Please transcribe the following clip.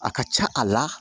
A ka ca a la